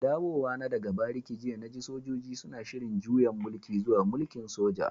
Dawowa na daga bariki jiya na ji sojoji suna shiri'n juyan mulki zuwa mulki'n soja.